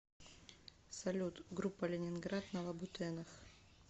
салют группа ленинград на лабутенах